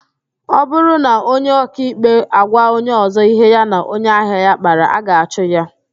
Ọ bụrụ na onye ọkaikpe agwa onye ọzọ ihe ya na onye ahịa ya kpara, a ga-achụ ya